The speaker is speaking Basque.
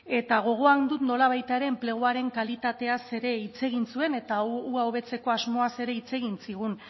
eta gogoan dut nolabait ere enpleguaren kalitateaz ere hitz egin zuen eta hau hobetzeko asmoaz ere hitz egin zigun